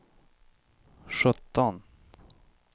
sjutton